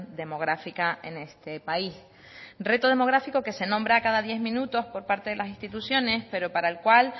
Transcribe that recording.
demográfica en este país reto demográfico que se nombra cada diez minutos por parte de las instituciones pero para el cual